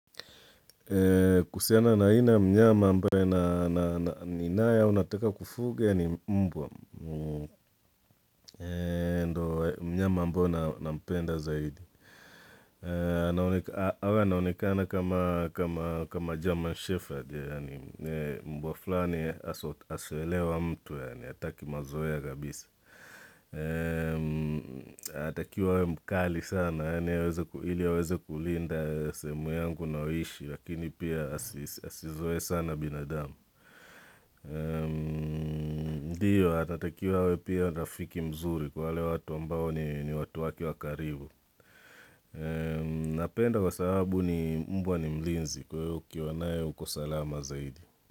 Kuhusiana na aina ya mnyama ambaye na ninaye na nataka kufuga ni mbwa mnyama mbona nampenda zaidi awe anaonekana kama german shepherd mbwa fulani asoelewa mtu yani hataki mazoea kabisa anatakiwa awe mkali sana ili aweze kulinda sehemu yangu ninayoishi lakini pia asizoee sana binadamu ndiyo atatakiwa awe pia rafiki mzuri kwa wale watu ambao ni watu wake wa karibu napenda kwa sababu ni mbwa ni mlinzi kwahiyo ukiwanae uko salama zaidi.